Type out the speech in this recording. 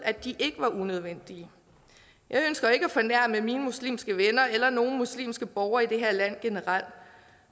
at de ikke var unødvendige jeg ønsker ikke at fornærme mine muslimske venner eller nogen muslimske borgere i det her land generelt